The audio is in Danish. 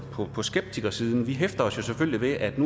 på skeptikersiden hæfter os jo selvfølgelig ved at